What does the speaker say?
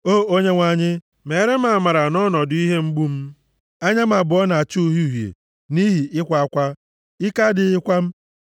O Onyenwe anyị, meere m amara nʼọnọdụ ihe mgbu m. Anya m abụọ na-acha uhie uhie nʼihi ịkwa akwa; ike adịghịkwa m.